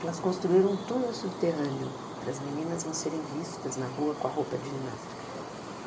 Elas construíram um túnel subterrâneo para as meninas não serem vistas na rua com a roupa de ginástica.